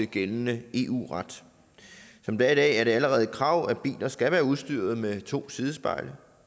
gældende eu ret som det er i dag er det allerede et krav at biler skal være udstyret med to sidespejle